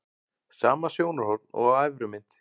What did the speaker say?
Sama sjónarhorn og á efri mynd.